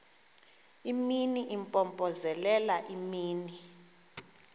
imini impompozelela imini